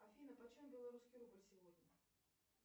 афина почем белорусский рубль сегодня